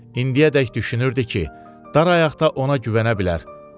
İndiyədək düşünürdü ki, dar ayaqda ona güvənə bilər.